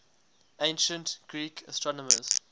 ancient greek astronomers